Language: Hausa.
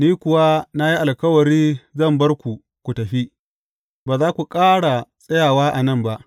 Ni kuwa na yi alkawari zan bar ku ku tafi, ba za ku ƙara tsayawa a nan ba.